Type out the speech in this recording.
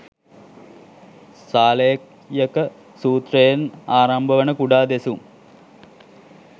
සාලෙය්යක සූත්‍රයෙන් ආරම්භ වන කුඩා දෙසුම්